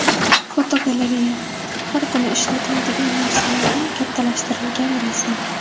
Fotogalereya: Har kuni ishlatiladigan narsalarning kattalashtirilgan rasmi.